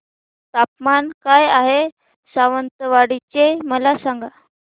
तापमान काय आहे सावंतवाडी चे मला सांगा